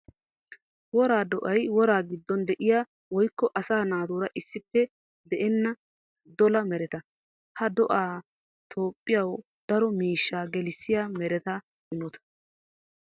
Wora do'ay woraa gidon de'iya woykko asaa naatura issippe de'enna dolla meretta. Ha do'ay Toophphiyawu daro miishsha gelissiya meretta imotta.